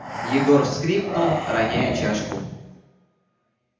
егор вскрикнул роняя чашку